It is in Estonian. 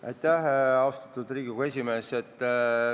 Aitäh, austatud Riigikogu esimees!